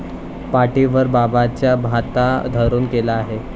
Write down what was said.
पाठीवर बाबांचा भाता धरून केला आहे.